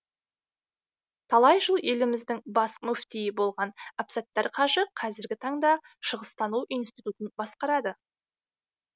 талай жыл еліміздің бас мүфтиі болған әбсаттар қажы қазіргі таңда шығыстану институтын басқарады